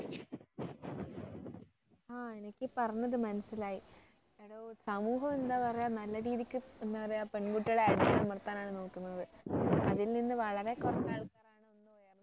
ആ എനിക്ക് ഈ പറഞ്ഞത് മനസ്സിലായി എടോ സമൂഹം എന്താ പറയുക നല്ല രീതിക്ക് എന്താ പറയ പെൺകുട്ടികളെ അടിച്ചമർത്താനാണ് നോക്കുന്നത് അതിൽ നിന്നും വളരെ കുറച്ച് ആൾക്കാരാണ്